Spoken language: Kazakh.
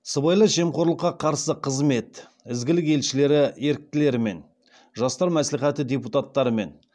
сыбайлас жемқорлыққа қарсы қызмет ізгілік елшілері еріктілерімен жастар мәслихаты депутаттарымен